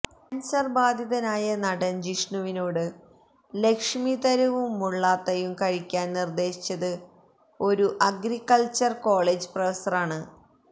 cancer ബാധിതനായിരുന്ന നടന് ജിഷ്ണുവിനോട് ലക്ഷമിതരുവും മുള്ളാത്തയും കഴിക്കാന് നിര്ദ്ദശിച്ചത് ഒരു അഗ്രിക്കള്ച്ചറല് കോളേജ് പ്രൊഫസറാണ്